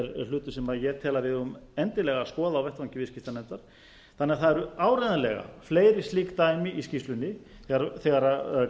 hlutur sem ég tel að við eigum endilega að skoða á vettvangi viðskiptanefndar það eru áreiðanlega fleiri slík dæmi í skýrslunni þegar